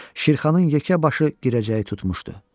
Şirxanın yekə başı girəcəyi tutmuşdu.